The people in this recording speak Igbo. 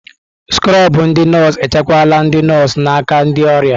Skrobụ ndị nọọsụ echekwala ndị nọọsụ n'aka ndị ọrịa.